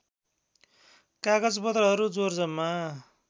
कागजपत्रहरू जोर जम्मा